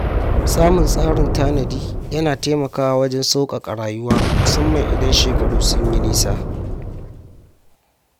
Samun tsarin tanadi yana taimakawa wajen sauƙaƙa rayuwa musamman idan shekaru sun yi nisa.